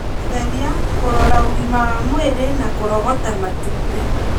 gũtheria, kũrora ũgima wa mwĩrĩ na kũrogota matumbĩ